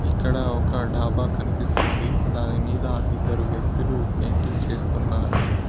ఇక్కడ ఒక డాబా కనిపిస్తుంది దాని మీద ఇద్దరు వ్యక్తులు పెయింటింగ్ చేస్తున్నారు.